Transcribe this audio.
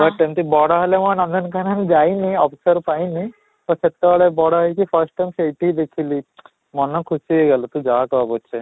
but ଏମିତି ବଡ ହେଲେ ମୁଁ ନନ୍ଦନକାନନ offer ପାଇନି, ତ ସେତେବେଳେ ବଡ ହେଇ first time ସେଇଠି ହିଁ ଦେଖିଥିଲି, ମନ ଖୁସି ହେଇଗଲି ତୁ ଯାହା କହ ପଛେ